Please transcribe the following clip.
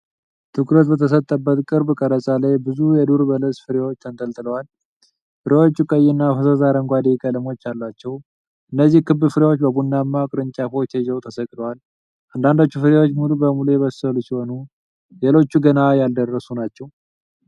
ትኩረት በተሰጠበት ቅርብ ቀረጻ ላይ ብዙ የዱር በለስ ፍሬዎች ተንጠልጥለዋል። ፍሬዎቹ ቀይ እና ፈዛዛ አረንጓዴ ቀለሞች አሏቸው። እነዚህ ክብ ፍሬዎች በቡናማ ቅርንጫፎች ተይዘው ተሰቅለዋል። አንዳንዶቹ ፍሬዎች ሙሉ በሙሉ የበሰሉ ሲሆኑ፣ ሌሎች ገና ያልደረሱ ናቸው።